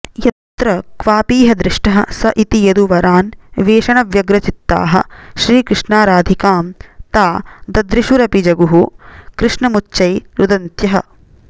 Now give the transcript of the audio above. यत्र क्वापीह दृष्टः स इति यदुवरान्वेषणव्यग्रचित्ताः श्रीकृष्णाराधिकां ता ददृशुरपि जगुः कृष्णमुच्चै रुदन्त्यः